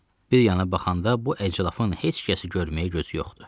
Bir yana baxanda, bu əclafın heç kəsi görməyə gözü yoxdur.